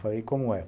Falei, como é?